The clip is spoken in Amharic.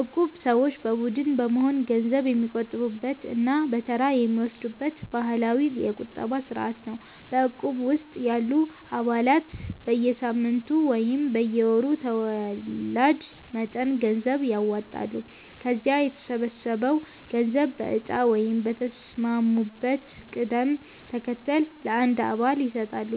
እቁብ ሰዎች በቡድን በመሆን ገንዘብ የሚቆጥቡበት እና በተራ የሚወስዱበት ባህላዊ የቁጠባ ስርዓት ነው። በእቁብ ውስጥ ያሉ አባላት በየሳምንቱ ወይም በየወሩ ተወላጅ መጠን ገንዘብ ያዋጣሉ። ከዚያ የተሰበሰበው ገንዘብ በእጣ ወይም በተስማሙበት ቅደም ተከተል ለአንድ አባል ይሰጣል።